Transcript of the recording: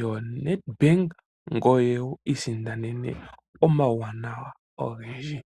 yoNet bank ngoye wi i sindanene omauwanawa ogendji.